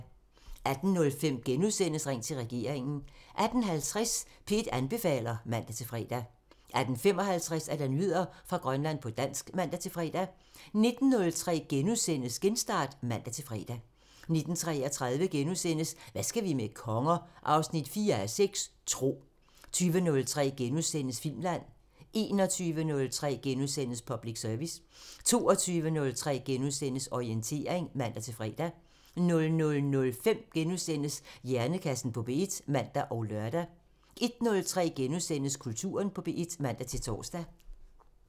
18:05: Ring til regeringen * 18:50: P1 anbefaler (man-fre) 18:55: Nyheder fra Grønland på dansk (man-fre) 19:03: Genstart *(man-fre) 19:33: Hvad skal vi med konger? 4:6 – Tro * 20:03: Filmland *(man) 21:03: Public Service * 22:03: Orientering *(man-fre) 00:05: Hjernekassen på P1 *(man og lør) 01:03: Kulturen på P1 *(man-tor)